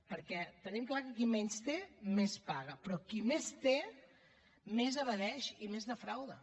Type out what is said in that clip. perquè tenim clar que qui menys té més paga però qui més té més evadeix i més defrauda